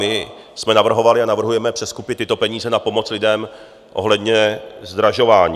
My jsme navrhovali a navrhujeme přeskupit tyto peníze na pomoc lidem ohledně zdražování.